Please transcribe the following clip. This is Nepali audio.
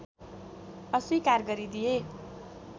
अस्वीकार गरिदिए